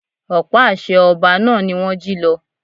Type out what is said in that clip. Ọ̀pá àṣẹ ọba náà ni wón jí lọ.